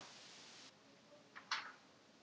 Eftir að hún komst aftur til ráðs.